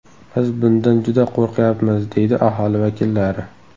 Biz bundan juda qo‘rqyapmiz”, deydi aholi vakillari.